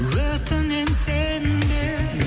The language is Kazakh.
өтінемін сенбе